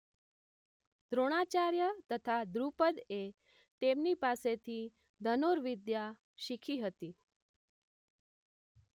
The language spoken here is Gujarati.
દ્રોણાચાર્ય તથા દ્રુપદએ તેમની પાસેથી ધનુર્વિદ્યા શીખી હતી